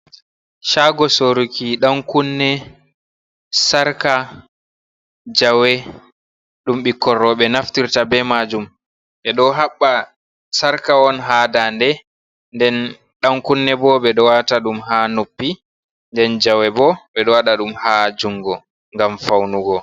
Shaago soruki ɗankunne, sarqa, jawe, ɗum ɓikkon rooɓe naftirta be majum, ɓe ɗo haɓɓa sarqa on ha dande, den ɗankunne bo ɓe ɗo waata ɗum ha noppi, nden jawe bo ɓe ɗo waɗa ɗum ha jungo ngam faunugo.